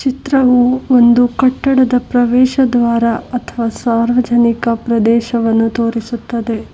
ಚಿತ್ರವು ಒಂದು ಕಟ್ಟಡದ ಪ್ರವೇಶ ದ್ವಾರ ಅಥವಾ ಸಾರ್ವಜನಿಕ ಪ್ರದೇಶವನ್ನು ತೋರಿಸುತ್ತದೆ.